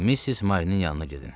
Missis Marinin yanına gedin.